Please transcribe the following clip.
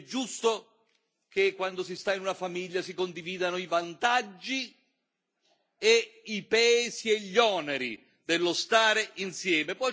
È giusto che quando si sta in una famiglia si condividano i vantaggi e i pesi e gli oneri dello stare insieme.